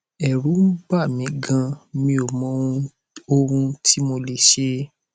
ẹrù ń bà mí ganan mi ò mọ ohun ohun tí mo lè ṣe